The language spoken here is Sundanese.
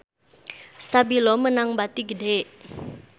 Stabilo meunang bati gede